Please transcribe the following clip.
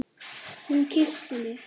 Hún kyssti mig!